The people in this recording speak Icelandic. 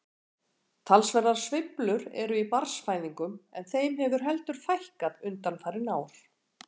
Talsverðar sveiflur eru í barnsfæðingum en þeim hefur heldur fækkað undanfarin ár.